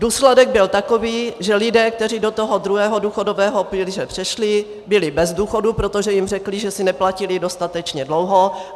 Důsledek byl takový, že lidé, kteří do toho druhého důchodového pilíře přešli, byli bez důchodu, protože jim řekli, že si neplatili dostatečně dlouho.